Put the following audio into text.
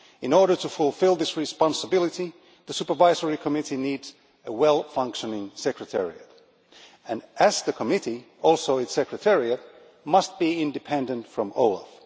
In order to fulfil this responsibility, the Supervisory Committee needs a well functioning Secretariat. And as the Committee, also its Secretariat must be independent from OLAF